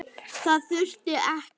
Það þurfti ekki.